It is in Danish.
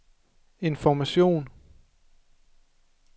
information